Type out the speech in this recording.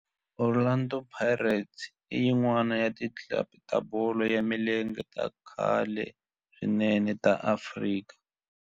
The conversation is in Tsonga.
Orlando Pirates i yin'wana ya ti club ta bolo ya milenge ta khale swinene ta Afrika